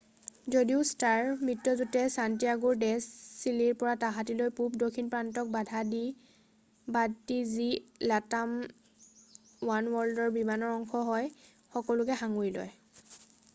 যদিও ষ্টাৰ মিত্ৰযুটে ছান্টিয়াগোৰ ডে চিলিৰ পৰা তাহাটীলৈ পূৰ্ব দক্ষিণ প্ৰশান্তক বাদ দি, যি latam ওৱানৱৰ্ল্ডৰ বিমানৰ অংশ হয় সকলোবোৰক সাঙুৰি লয়।